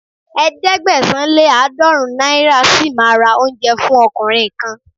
Ẹ̀ẹ́dẹ́gbẹ̀sán- lé-àádọ́ọ̀rún náírà ṣì máa ra oúnjẹ fún ọkùnrin kan.